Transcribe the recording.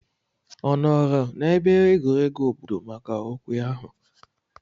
Ọ nọọrọ n'ebe egwuregwu obodo maka okwe ahụ?